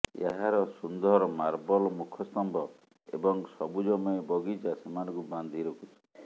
ଏହାର ସୁନ୍ଦର ମାର୍ବଲ୍ ମୁଖ ସ୍ତମ୍ଭ ଏବଂ ସବୁଜମୟ ବଗିଚା ସେମାନଙ୍କୁ ବାନ୍ଧି ରଖୁଛି